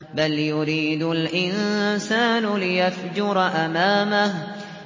بَلْ يُرِيدُ الْإِنسَانُ لِيَفْجُرَ أَمَامَهُ